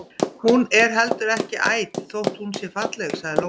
Hún er heldur ekki æt þótt hún sé falleg, sagði Lóa.